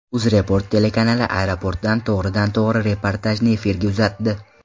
UzReport telekanali aeroportdan to‘g‘ridan to‘g‘ri reportajni efirga uzatdi.